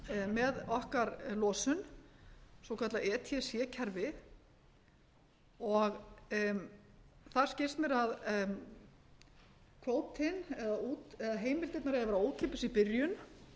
með okkar losun svokallað eða kerfi og það skilst mér að kvótinn eða heimildirnar eiga að vera ókeypis í byrjun